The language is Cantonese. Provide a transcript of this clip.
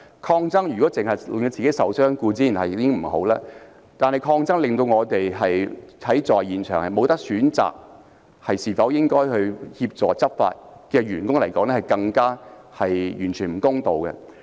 抗爭令自己受傷固然不好，但對於在現場無法選擇應否協助執法的員工而言，更是完全不公道。